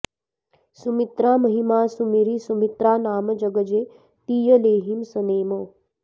सुमित्रामहिमा सुमिरि सुमित्रा नाम जग जे तिय लेहिं सनेम